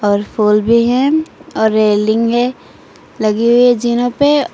और फूल भी है और रेलिंग है लगी हुई जिना पे।